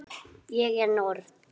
Ég er norn.